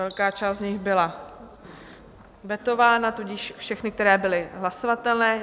Velká část z nich byla vetována, tudíž všechny, které byly hlasovatelné.